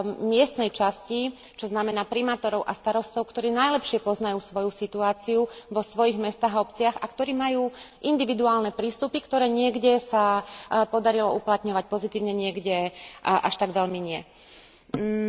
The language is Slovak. miestnej časti, čo znamená primátorov a starostov, ktorí najlepšie poznajú svoju situáciu vo svojich mestách a obciach a ktorí majú individuálne prístupy, ktoré sa niekde podarilo uplatňovať pozitívne, niekde nie až tak veľmi pozitívne.